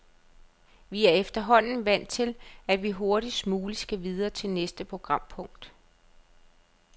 Vi er efterhånden vant til, at vi hurtigst muligt skal videre til næste programpunkt.